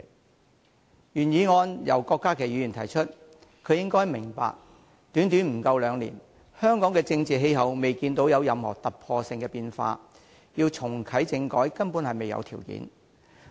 今天的原議案由郭家麒議員提出，他應該明白，在短短不到兩年間，香港的政治氣候未見任何突破性的變化，要重啟政改根本未有條件。